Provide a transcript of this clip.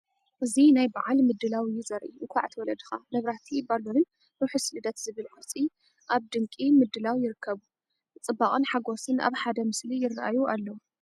እዚ ናይ በዓል ምድላው እዩ ዘርኢ። እንኳዕ ተወለድካ! መብራህቲ፡ ባሎንን "ርሐስ ልደት" ዝብል ቅርጺ ኣብ ድንቂ ምድላው ይርከቡ። ጽባቐን ሓጎስን ኣብ ሓደ ምስሊ ይራኣዩ ኣለው።